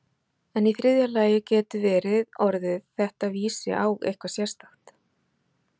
En í þriðja lagi getur verið að orðið þetta vísi á eitthvað sérstakt.